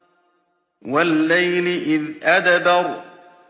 وَاللَّيْلِ إِذْ أَدْبَرَ